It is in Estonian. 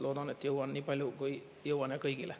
Loodan, et jõuan niipalju, kui jõuan, ja kõigile.